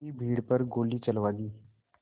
की भीड़ पर गोली चलवा दी